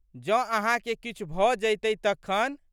जौं अहाँके किछु भ जइतए तखन?